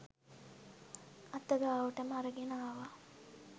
අත ගාවටම අරගෙන ආවා